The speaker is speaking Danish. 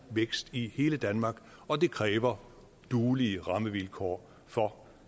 vækst i hele danmark og det kræver duelige rammevilkår for